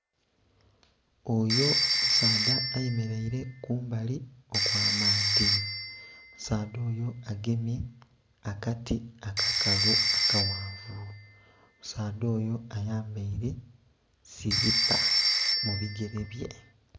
Oyo musaadha ayemeleile kumbali okw'amaadhi, omusaadha oyo agemye akati akakalu akaghanvu omusaadha oyo ayambaile silipa mu bigele bye.